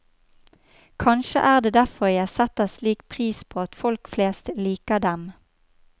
Kanskje er det derfor jeg setter slik pris på at folk flest liker dem.